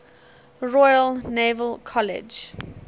royal naval college